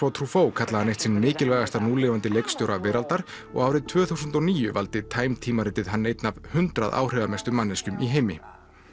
Wotro kallaði hann eitt sinn mikilvægasta núlifandi leikstjóra veraldar og árið tvö þúsund og níu valdi time tímaritið hann einn af hundrað áhrifamestu manneskjum í heimi